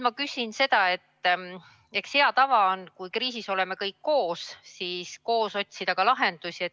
Eks hea tava on, et kui kriisis oleme koos, siis koos otsime lahendusi.